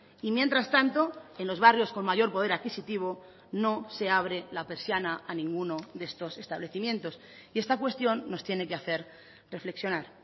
y mientras tanto en los barrios con mayor poder adquisitivo no se abre la persiana a ninguno de estos establecimientos y esta cuestión nos tiene que hacer reflexionar